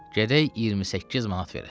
Gərək 28 manat verəsən.